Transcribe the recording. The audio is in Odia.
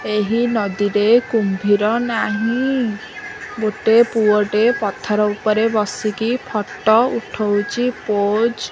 ଏହି ନଦୀରେ କୁମ୍ଭୀର ନାହିଁ ଗୋଟେ ପୁଅଟେ ପଥର ଉପରେ ବସିକି ଫଟୋ ଉଠଉଛି ପୋଜ --